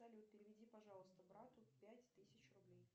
салют переведи пожалуйста брату пять тысяч рублей